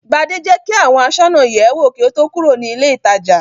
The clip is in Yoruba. Gbadé jẹ́ kí àwọn aṣọ́nà yẹ̀ ẹ́ wò kí ó tó kúrò ní ilé-ìtajà.